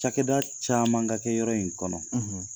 Cakɛda caman ka kɛ yɔrɔ in kɔnɔ.